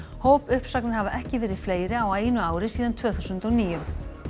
hópuppsagnir hafa ekki verið fleiri á einu ári síðan tvö þúsund og níu